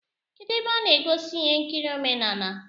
Kedụ ebe a na egosi ihe nkiri omenala?